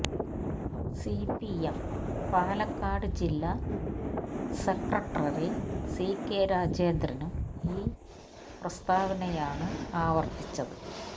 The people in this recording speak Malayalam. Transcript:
സിപിഎം പാലക്കാട് ജില്ലാ സെക്രട്ടറി സികെ രാജേന്ദ്രനും ഇത് പ്രസ്താവയാണ് ആവര്ത്തിച്ചത്